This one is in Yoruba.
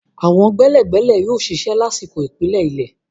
Àwọn gbẹ́lẹ̀gbẹ́lẹ̀ yóò ṣiṣẹ́ lásìkò ìpìlẹ̀ ilé.